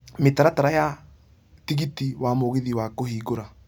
mĩtaratara ya tigiti wa mũgithi ya kũhingũra